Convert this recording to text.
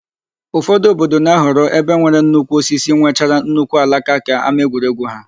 Ụfọdụ obodo na-ahọrọ ebe nwere nnukwu osisi nwechara nnukwu alaka ka ámáegwuregwu ha.